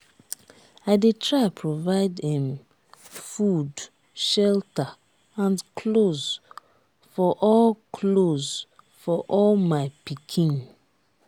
i dey try provide um food shelter and clothes for all clothes for all my pikin.